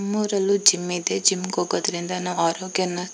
ನಮ್ಮೂರಲ್ಲೂ gym ಇದೆ gym ಗೆ ಹೋಗೋದ್ರಿಂದ ನಾವು ಆರೋಗ್ಯನ್ನ --